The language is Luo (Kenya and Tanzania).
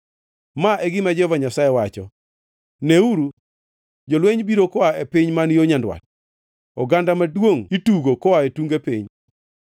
Ma e gima Jehova Nyasaye wacho: “Neuru, jolweny biro koa e piny man yo nyandwat; oganda maduongʼ itugo koa e tunge piny.